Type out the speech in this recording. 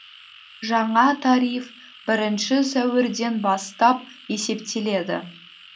жаңа тариф бірінші сәуірден бастап есептеледі